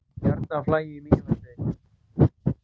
Bjarnarflagi í Mývatnssveit.